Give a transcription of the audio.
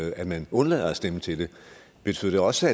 at man undlader at stemme til det betyder det også